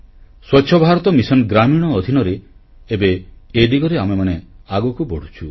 ସ୍ୱଚ୍ଛ ଭାରତ ମିଶନ୍ ଗ୍ରାମୀଣ ଅଧିନରେ ଏବେ ଏ ଦିଗରେ ଆମେମାନେ ଆଗକୁ ବଢ଼ୁଛୁ